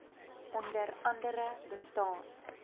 onder andere bestaan